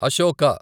Ashoka